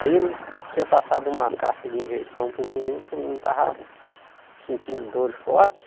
Aí ele tinha passado uma caixa de injeção para o menino, que o menino estava sentindo dores forte.